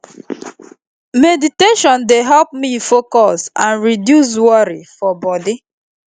meditation dey help me focus and reduce worry for body